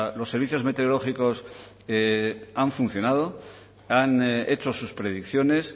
los servicios meteorológicos han funcionado han hecho sus predicciones